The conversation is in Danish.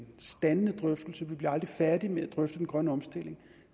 standende drøftelse vi bliver aldrig færdige med at drøfte den grønne omstilling